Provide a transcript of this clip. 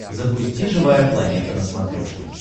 запусти живая планета на смотрешке